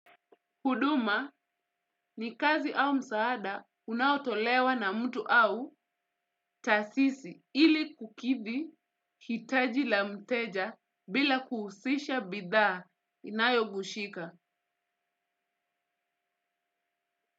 Huduma ni kazi au msaada unaotolewa na mtu au taasisi ili kukithi hitaji la mteja bila kuhusisha bidhaa inayogushika.